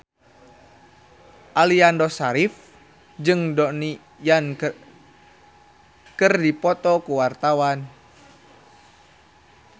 Aliando Syarif jeung Donnie Yan keur dipoto ku wartawan